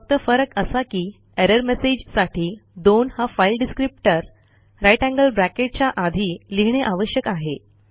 फक्त फरक असा की एरर मेसेजसाठी दोन हा file descriptor greater than sign च्या आधी लिहिणे आवश्यक आहे